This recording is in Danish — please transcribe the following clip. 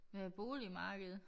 Hvad med boligmarkedet